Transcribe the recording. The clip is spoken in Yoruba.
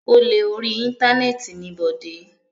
Olè orí Íńtánẹ́ẹ̀tì ni Bọ̀dé.